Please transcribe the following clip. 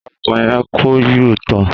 Àwákò yen kọ̀ U–tòn.